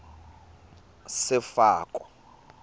sefako